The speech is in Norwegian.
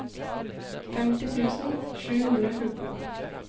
femti tusen sju hundre og fjorten